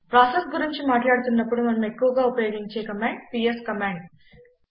processes గురించి మాట్లాడుతున్నపుడు మనం ఎక్కువగా ఉపయోగించే కమాండ్ పిఎస్ కమాండ్